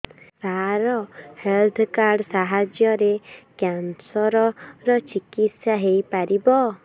ସାର health card ସାହାଯ୍ୟରେ cancer ର ଚିକିତ୍ସା ହେଇପାରିବ